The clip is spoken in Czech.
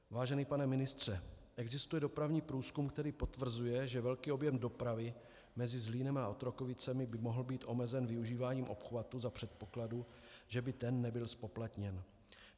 Vážený pane ministře, existuje dopravní průzkum, který potvrzuje, že velký objem dopravy mezi Zlínem a Otrokovicemi by mohl být omezen využíváním obchvatu za předpokladu, že by ten nebyl zpoplatněn.